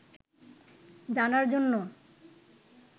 জানার জন্য